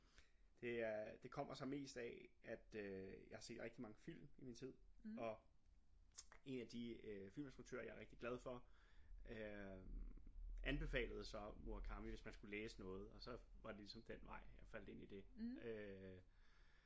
Det er det kommer sig mest af at øh jeg har set rigtig mange film i min tid og en af de øh film instruktører jeg er rigtig glad for øh anbefalede så Murakami hvis man skulle læse noget og så var det ligesom den vej jeg faldt ind i det